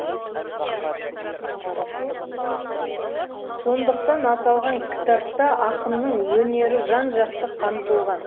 сондықтан аталған кітапта ақынның өнері жан жақты қамтылған